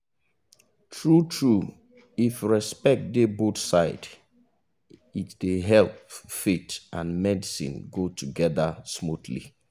true true if respect dey both side it dey help faith and medicine go togeda smoothly.